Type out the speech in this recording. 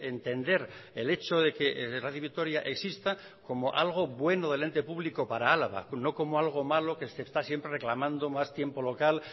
entender el hecho de que radio vitoria exista como algo bueno del ente público para álava no como algo malo que se está siempre reclamando más tiempo local